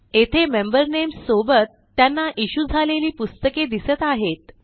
येथे member names सोबत त्यांना इश्यू झालेली पुस्तके दिसत आहेत